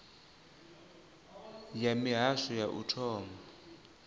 ya mihasho ya u thoma